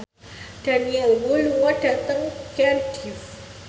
Daniel Wu lunga dhateng Cardiff